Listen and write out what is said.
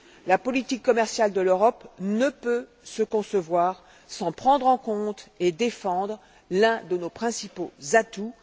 La politique commerciale de l'Europe ne peut se concevoir sans prendre en compte et défendre l'un de nos principaux atouts.